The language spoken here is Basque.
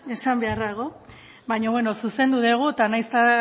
baina beno zuzendu dugu eta nahiz eta